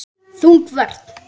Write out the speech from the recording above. Þung vörn.